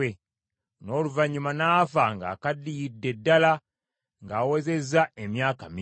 N’oluvannyuma n’afa ng’akaddiyidde ddala ng’awezezza emyaka mingi.